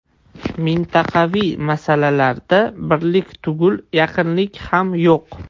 Mintaqaviy masalalarda birlik tugul yaqinlik ham yo‘q.